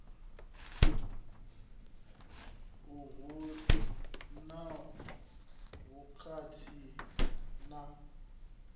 a hu na vhukhakhi na